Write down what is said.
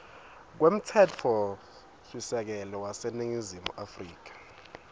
kwemtsetfosisekelo waseningizimu afrika